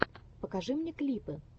покажи мне клипы